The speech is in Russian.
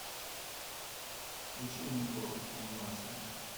включи метро анимация